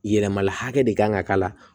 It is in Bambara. Yɛlɛmala hakɛ de kan ka k'a la